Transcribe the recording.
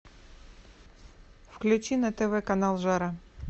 включи на тв канал жара